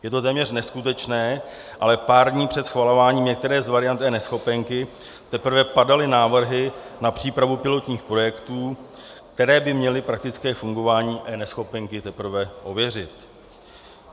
Je to téměř neskutečné, ale pár dní před schvalováním některé z variant eNeschopenky teprve padaly návrhy na přípravu pilotních projektů, které by měly praktické fungování eNeschopenky teprve ověřit.